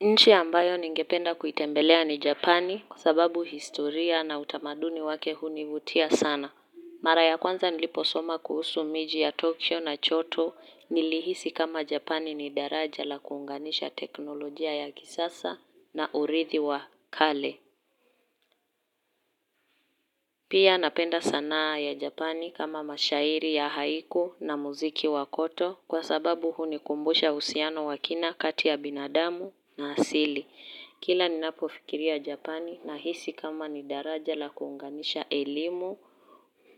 Nchi ambayo ningependa kuitembelea ni Japani kusababu historia na utamaduni wake hunivutia sana. Mara ya kwanza niliposoma kuhusu miji ya Tokio na Choto nilihisi kama Japani ni daraja la kuunganisha teknolojia ya kisasa na urithi wa kale. Pia napenda sanaa ya Japani kama mashairi ya haiku na muziki wa koto kwa sababu hunikumbusha uhusiano wakina kati ya binadamu na asili. Kila ni napofikiria Japani na hisi kama ni daraja la kuunganisha elimu,